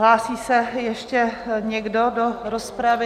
Hlásí se ještě někdo do rozpravy?